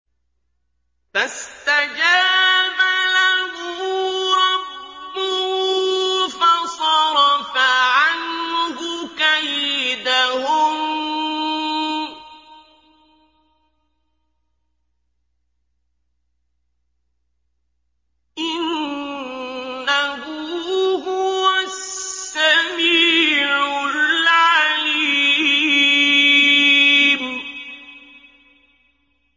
فَاسْتَجَابَ لَهُ رَبُّهُ فَصَرَفَ عَنْهُ كَيْدَهُنَّ ۚ إِنَّهُ هُوَ السَّمِيعُ الْعَلِيمُ